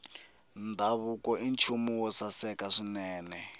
ndhavuko i nchumu wo saseka swinene